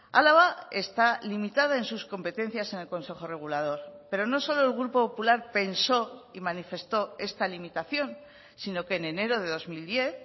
álava está limitada en sus competencias en el consejo regulador pero no solo el grupo popular pensó y manifestó esta limitación sino que en enero de dos mil diez